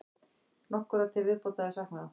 Nokkurra til viðbótar er saknað.